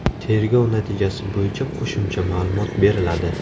Tergov natijasi bo‘yicha qo‘shimcha ma’lumot beriladi.